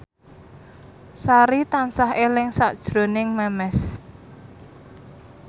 Sari tansah eling sakjroning Memes